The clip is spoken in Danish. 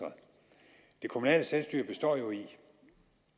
kunne se